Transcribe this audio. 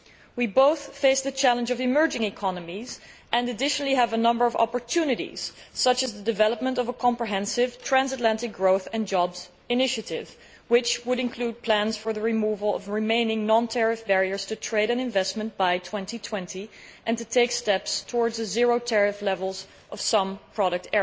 We both face the challenge of the emerging economies and we also have a number of opportunities, such as the development of a comprehensive, transatlantic growth and jobs initiative which would include plans for the removal of remaining non tariff barriers to trade and investment by 2020 and steps towards zero tariff levels for certain types of product.